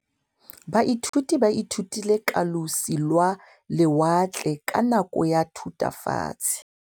Baithuti ba ithutile ka losi lwa lewatle ka nako ya Thutafatshe.